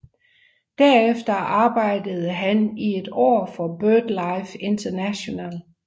Derefter arbejdede han i et år for BirdLife International